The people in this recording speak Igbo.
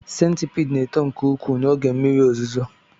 Centipede na-eto nke ukwuu n'oge mmiri ozuzo